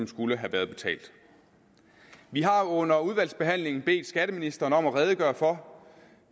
skulle have været betalt vi har under udvalgsbehandlingen bedt skatteministeren om at redegøre for